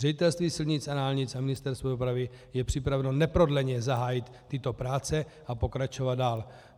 Ředitelství silnic a dálnic a Ministerstvo dopravy jsou připraveny neprodleně zahájit tyto práce a pokračovat dál.